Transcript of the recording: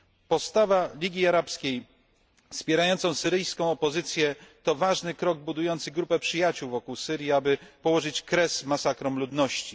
Postawa Ligii Arabskiej wspierającej syryjską opozycję to ważny krok budujący grupę przyjaciół wokół Syrii, aby położyć kres masakrom ludności.